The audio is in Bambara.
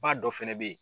Ba dɔ fɛnɛ bɛ ye